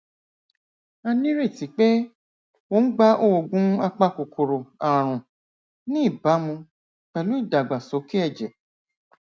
a nírètí pé ó ń gba oògùn apakòkòrò ààrùn ní ìbámu pẹlú ìdàgbàsókè ẹjẹ